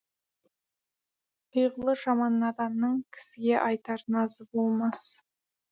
пиғылы жаман наданның кісіге айтар назы болмас